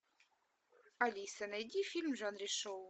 алиса найди фильм в жанре шоу